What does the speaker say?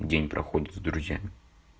день проходит с друзьями